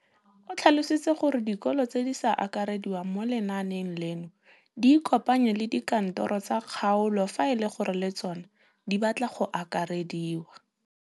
O tlhalositse gore dikolo tse di sa akarediwang mo lenaaneng leno di ikopanye le dikantoro tsa kgaolo fa e le gore le tsona di batla go akarediwa.